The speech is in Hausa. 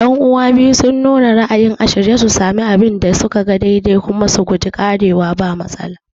Yan'uwa biyu sun nuna ra'ayin a shirye su sami abin da suka ga daidai kuma su guji ƙarewa ba mafita